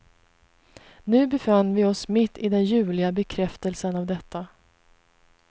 Nu befann vi oss mitt i den ljuvliga bekräftelsen av detta.